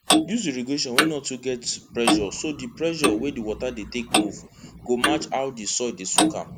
use irrigation wey no too get pressure so di pressure wey di water dey take move go match how di soil dey soak am